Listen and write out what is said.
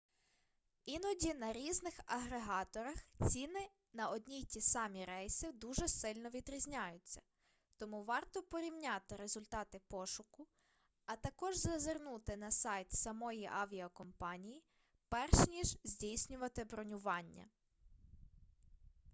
іноді на різних агрегаторах ціни на одні й ті самі рейси дуже сильно відрізняються тому варто порівняти результати пошуку а також зазирнути на сайт самої авіакомпанії перш ніж здійснювати бронювання